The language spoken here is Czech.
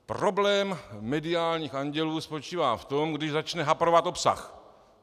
Problém mediálních andělů spočívá v tom, když začne haprovat obsah.